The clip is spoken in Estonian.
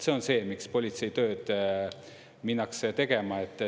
See on see, miks politseitööd minnakse tegema.